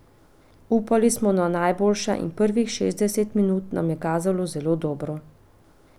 Upali smo na najboljše in prvih šestdeset minut nam je kazalo zelo dobro.